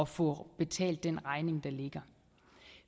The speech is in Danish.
få betalt den regning der ligger